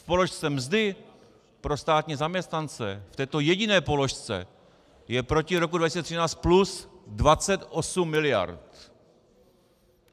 V položce mzdy pro státní zaměstnance, v této jediné položce, je proti roku 2013 plus 28 miliard.